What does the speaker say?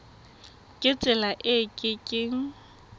ka tsela e ke keng